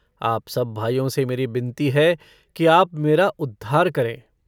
आप सब भाइयों से मेरी बिनती है कि आप मेरा उद्धार करें।